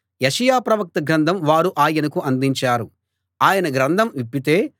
యెషయా ప్రవక్త గ్రంథం వారు ఆయనకు అందించారు ఆయన గ్రంథం విప్పితే